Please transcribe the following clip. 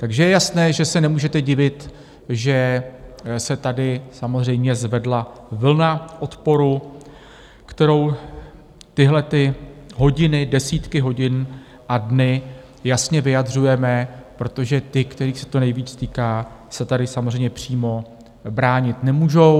Takže je jasné, že se nemůžete divit, že se tady samozřejmě zvedla vlna odporu, kterou tyhlety hodiny, desítky hodin a dny jasně vyjadřujeme, protože ti, kterých se to nejvíc týká, se tady samozřejmě přímo bránit nemůžou.